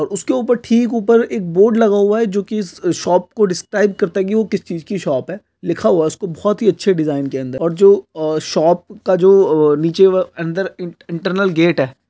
और उसके ऊपर ठीक ऊपर एक बोर्ड लागा हुआ है जो की उस शॉप को डिस्क्राइब करता है की वो किस चीज की शॉप है लिखा हुआ है उसको बहुत ही अच्छे डिज़ाइन के अंदर और जो शॉप का जो नीचे अंदर इंटरनल गेट है।